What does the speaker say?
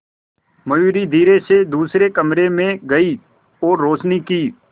मयूरी धीरे से दूसरे कमरे में गई और रोशनी की